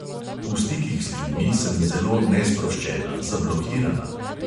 V stikih z ljudmi sem zelo nesproščena, zablokirana.